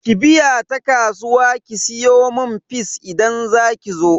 Ki biya ta kasuwa ki siyomun fis idan zakizo.